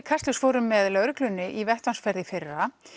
Kastljós fórum með lögreglunni í vettvangsferð í fyrra